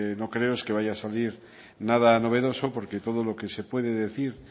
no creo es que vaya a salir nada novedoso porque todo lo que se puede decir